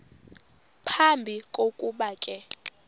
phambi kokuba ke